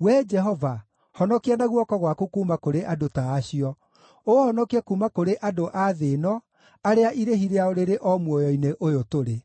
Wee Jehova, honokia na guoko gwaku kuuma kũrĩ andũ ta acio, ũũhonokie kuuma kũrĩ andũ a thĩ ĩno arĩa irĩhi rĩao rĩrĩ o muoyo-inĩ ũyũ tũrĩ.